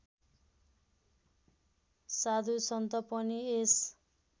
साधुसन्त पनि यस